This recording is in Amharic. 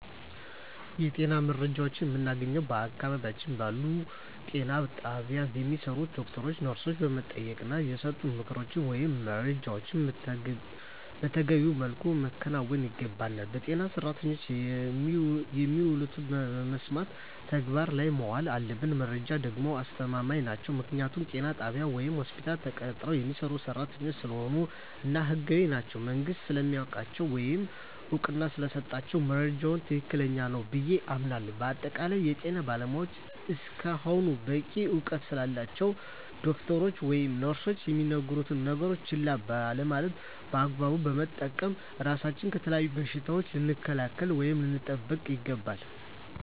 የጤና መረጃዎችን የምናገኘዉ በአቅራቢያችን ባሉ ጤና ጣቢያ በሚሰሩ ዶክተሮችን ነርሶችን በመጠየቅና የሰጡንን ምክሮች ወይም መረጃዎችን መተገቢዉ መልኩ ማከናወን ይገባናል በጤና ሰራተኖች የሚሉትን በመስማት ተግባር ላይ ማዋል አለብን መረጃዎች ደግሞ አስተማማኝ ናቸዉ ምክንያቱም ጤና ጣቢያ ወይም ሆስፒታል ተቀጥረዉ የሚሰሩ ሰራተኞች ስለሆኑ እና ህጋዊም ናቸዉ መንግስትም ስለሚያዉቃቸዉ ወይም እዉቅና ስለተሰጣቸዉ መረጃዉ ትክክል ነዉ ብየ አምናለሁ በአጠቃላይ የጤና ባለሞያዎች እስከሆኑና በቂ እዉቀት ስላላቸዉ ዶክተሮች ወይም ነርሶች የሚነግሩነን ነገሮች ችላ ባለማለት በአግባቡ በመጠቀም ራሳችንን ከተለያዩ በሽታዎች ልንከላከል ወይም ልንጠብቅ ይገባል